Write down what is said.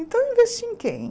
Então eu investi em quem?